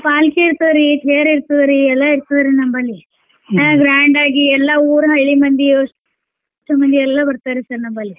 पालकी ಇರ್ತದರೀ ತೇರ್ ಇರ್ತದ ರೀ ಎಲ್ಲಾ ಇರ್ತದ ರೀ ನಮ್ಮಲ್ಲಿ grand ಆಗಿ ಎಲ್ಲಾ ಊರ್ ಹಳ್ಳಿ ಮಂದಿ ಅಷ್ಟು ಮಂದಿ ಎಲ್ಲಾ ಬರ್ತಾರಿ sir ನಮ್ಮಲ್ಲಿ.